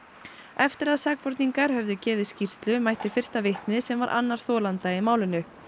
eftir að sakborningar höfðu gefið skýrslu mætti fyrsta vitnið sem var annar þolenda í málinu